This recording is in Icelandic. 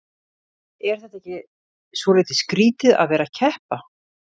Er þetta ekki svolítið skrýtið að vera að keppa?